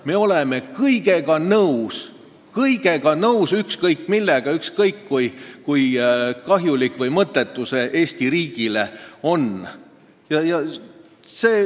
Me oleme kõigega nõus – ükskõik millega, ükskõik kui kahjulik või mõttetu see Eesti riigile on.